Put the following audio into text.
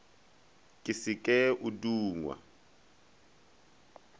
ke se ke o dungwa